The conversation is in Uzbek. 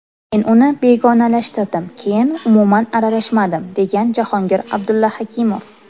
Men uni begonalashtirdim, keyin umuman aralashmadim”, degan Jahongir Abdullaxakimov.